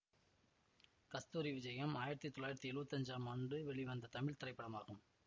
கஸ்தூரி விஜயம் ஆயிரத்தி தொள்ளாயிரத்தி எழுவத்தி அன்ஜாம் ஆண்டு வெளிவந்த தமிழ் திரைப்படமாகும்